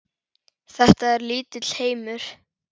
Þetta er lítill heimur!